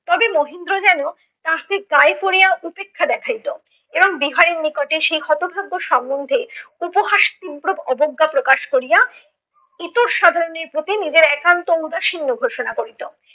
তবে মহেন্দ্র যেন তাহাকে গায়ে পড়িয়া উপেক্ষা দেখাইত এবার বিহারির নিকটে সেই হতভাগ্য সমন্ধে উপহাস তীব্রব অবজ্ঞা প্রকাশ করিয়া ইতর সাধারণের প্রতি নিজের একান্ত ঔদাসীন্য ঘোষণা করিত।